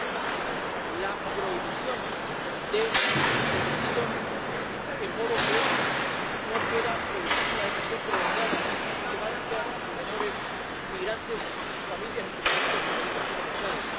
Asimismo, la prohibición de la detención, de modo que no pueda producirse una detención prolongada y sistemática de menores migrantes y sus familias, en cumplimiento de sus derechos fundamentales.